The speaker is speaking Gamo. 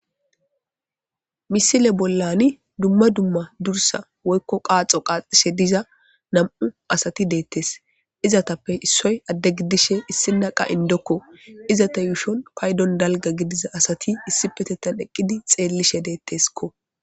misile bollani dumma dumma dursa woykko qaaxo qaaxishe diza nam7u asati deettes izatappe issoy adde giddishe issina qa indokko izata yuushon paydon dalga gidiza asati issi petettan eqqidi xeellishe deetteskko